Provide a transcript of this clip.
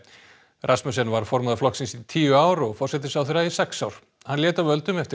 Rasmussen var formaður flokksins í tíu ár og forsætisráðherra í sex ár hann lét af völdum eftir